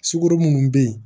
Sukoro munnu be yen